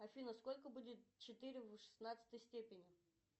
афина сколько будет четыре в шестнадцатой степени